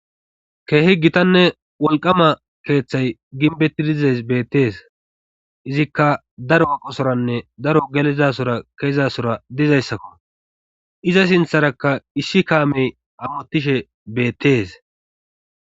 keehi gitanne wolqama keeththay ginbetti dizas beettees izikka daro aqosoranne daro gelizasora keezasora dizayssakko iza sintharakka issi kaamey amotishe beettees